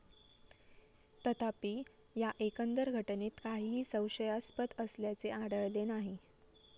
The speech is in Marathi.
तथापि, या एकंदर घटनेत काहीही संशयास्पद असल्याचे आढळले नाही.